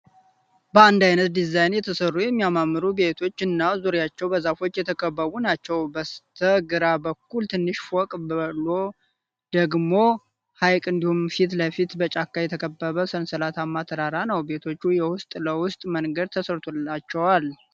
በአንድ አይነት ድዛይን የተሰሩ የሚያማምሩ በቶች እና ዙሬቸውን በዛፎች የተከበቡ ናቸው ። በስተ ገራ በኩል ትንሽ ፈቅ ብሎ ደግሞ ሀይቅ እንድሁም ፊት ለፊት በጫካ የተከበበ ሰንሰለታማ ተራራ ነው። ቤቶቹም የውስጥ ለውስጥ መንገድ ተሰርቶላቸዋል።